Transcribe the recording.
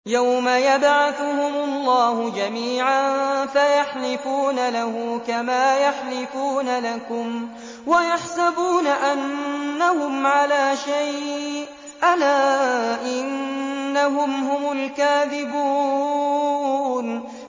يَوْمَ يَبْعَثُهُمُ اللَّهُ جَمِيعًا فَيَحْلِفُونَ لَهُ كَمَا يَحْلِفُونَ لَكُمْ ۖ وَيَحْسَبُونَ أَنَّهُمْ عَلَىٰ شَيْءٍ ۚ أَلَا إِنَّهُمْ هُمُ الْكَاذِبُونَ